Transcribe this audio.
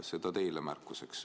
Seda teile märkuseks.